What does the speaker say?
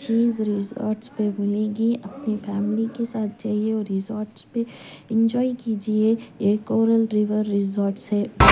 चीज़ resorts पे मिलेगी अपनी फैमिली के साथ जाइए और रिसॉर्ट्स पे एंजॉय कीजिए ये कोरल रिवर रिसॉर्ट्स है।